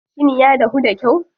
Shin ya dahu da kyau?